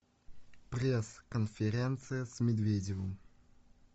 пресс конференция с медведевым